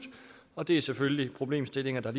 og det er selvfølgelig problemstillinger der